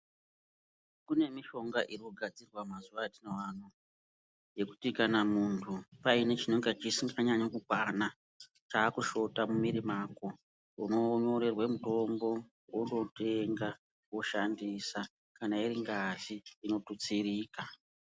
Kune mushonga unogadzirwa mazuwa atinawo anaya yekuti kana mundu pane chinenge chisinganyanyi kukwana chakushota mumiri mako unonyorerwa mutombo wondotenga woshandisa kana iringazi inotutsirika